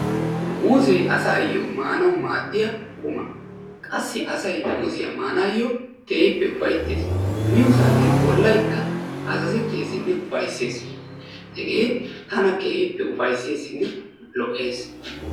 Muuzzee asaayo maanawu maadiya quma qassi asay muuzziya maanayo keehippe ufayttees. miyo saatiyan bolay keehippe azzazeteesinne ufayssees. hegee tana keehippe ufaysseesinne lo'ees.